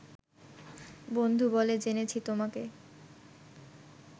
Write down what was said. বন্ধু বলে জেনেছি তোমাকে